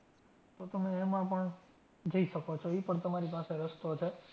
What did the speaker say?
તો તમે એમાં પણ જઈ શકો છો. ઈ પણ તમારી પાસે રસ્તો છે.